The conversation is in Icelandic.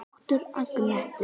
Þáttur Agnetu